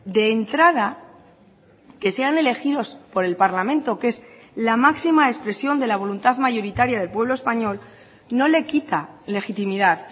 de entrada que sean elegidos por el parlamento que es la máxima expresión de la voluntad mayoritaria del pueblo español no le quita legitimidad